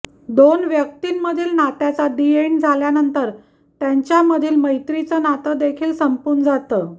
दोन व्यक्तींमधील नात्याचा दि एण्ड झाल्यानंतर त्यांच्यामधील मैत्रीचं नातं देखील संपून जातं